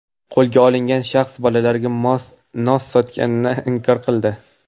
Qo‘lga olingan shaxs bolalarga nos sotganini inkor qildi.